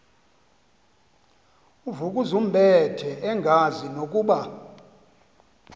uvukuzumbethe engazi nokuba